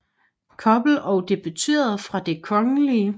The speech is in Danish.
Koppel og debuterede fra Det Kgl